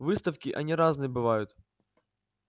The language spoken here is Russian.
выставки они разные бывают